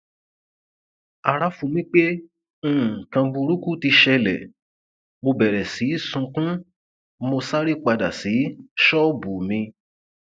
ara fu mí pé nǹkan burúkú ti ṣẹlẹ mo bẹrẹ sí í sunkún mo sáré padà sí ṣọọbù mi